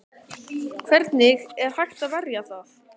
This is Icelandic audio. Hvernig er hægt að verja það?